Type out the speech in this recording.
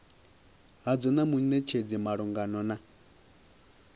hadzo na munetshedzi malugana na